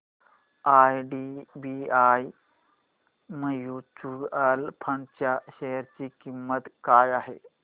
IDBI mutual fund च्या share ची किंमत काय आहे